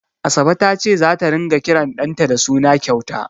Asabe ta ce zata ringa kiran ɗanta da suna kyauta.